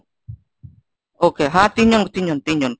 okay হ্যাঁ তিনজন তিনজন তিনজন।